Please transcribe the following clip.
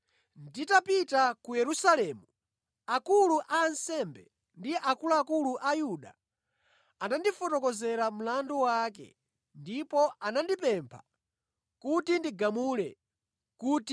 Nditapita ku Yerusalemu akulu a ansembe ndi akuluakulu a Ayuda anandifotokozera mlandu wake ndipo anandipempha kuti ndigamule kuti ndi wolakwa.